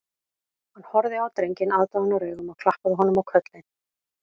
Hann horfði á drenginn aðdáunaraugum og klappaði honum á kollinn